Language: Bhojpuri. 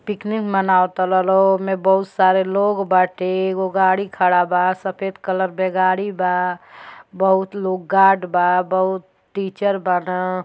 पिकनिक मनाव तड़न लोग वोमे बहुत सारे लोग बाटे एगो गाडी खड़ा बा सफेद कलर के गाड़ी बा। बहुत लोग गार्ड बा बहुत टीचर बाड़न।